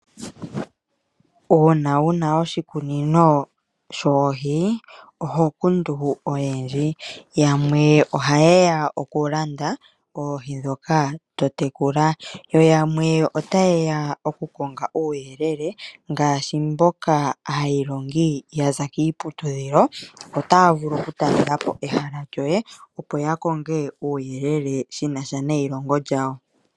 Uuna wu na oshikunino shoohi oho kundu oyendji. Yamwe ohaye ya okulanda oohi ndhoka to tekula, yo yamwe otaye ya okukonga uuyelele ngaashi aailongi mboka ya za kiiputudhilo otaya vulu okutalela po ehala lyoye, opo ya konge uuyelele shi na sha neilongo lyawo.